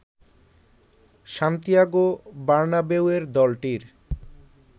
Santiago বার্নাবেউয়ের দলটির